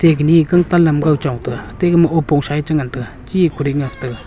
teh kanyi gangtan lamgaw chong taga atte gama owpongsa eh chengan taga chee eh kuding nga taga.